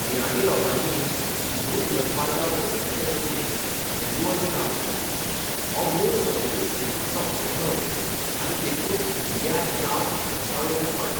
इराणी लोकांनी सिंधू उदकामार्गा भोंवतणच्या जमनीक हिंदू अशें नांव दिलें, हो मूळ संस्कृत सिंधुचो अपभ्रंश आनी देखून इंडिया हें नांव इन्डसावयल्यान पडलां.